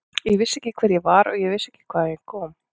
Ég vissi ekki hver ég var og vissi ekki hvaðan ég kom.